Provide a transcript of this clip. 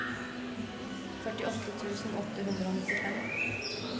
førtiåtte tusen åtte hundre og nittifem